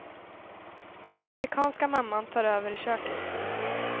Den afrikanska mamman tar över i köket.